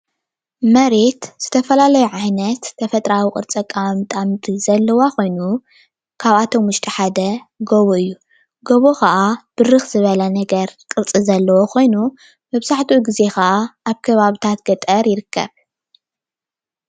መሬት ዝተፈላለዩ ዓይነት ተፈጥራኣዊ ቅርፂ ኣቀማምጣ ምድሪ ዘለዋ ኮይኑ ካብ ኣቶም ውሽጢ ሓደ ጎቦ እዩ፡፡ ጎቦ ከኣ ብርክ ዝበለ ነገር ቅርፂ ዘለዎ ኮይኑ መብዛሕትኡ ግዜ ከዓ ኣብ ከባቢታት ገጠር ይርከብ፡፡